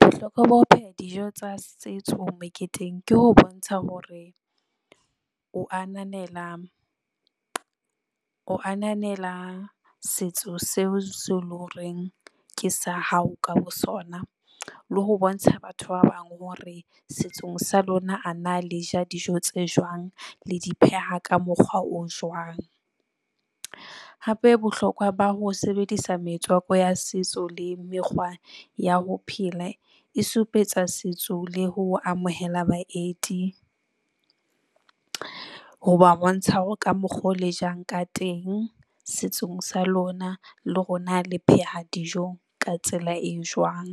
Bohlokwa ba ho pheha dijo tsa setso meketeng ke ho bontsha hore o ananela, o ananela setso seo seo le horeng ke sa hao ka bosona le ho bontsha batho ba bang hore setsong sa lona a na le ja dijo tse jwang le di pheha ka mokgwa o jwang? Hape, bohlokwa ba ho sebedisa metswako ya setso le mekgwa ya ho phela e supetsa setso le ho amohela baeti, ho ba bontsha hore ka mokgo le jang ka teng setsong sa lona le hore na le pheha dijo ka tsela e jwang.